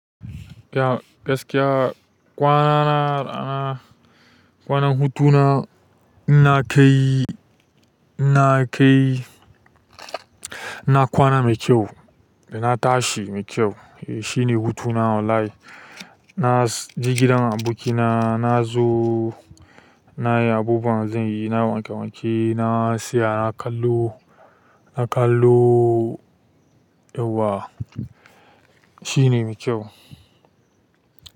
Gaskiya kwana na, kwana hutu na ina kai, ina kai, ina kwana mai kyau da na tashi mai kyau shi ne hutuna, wallahi. Na je gidan abokina, na zo nayi abubuwan da zan yi, na wanke-wanke, na tsaya na kallo, na kallo yawwa shine mai kyau.